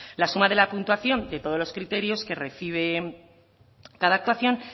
la suma de la puntuación de todos los criterios que recibe cada actuación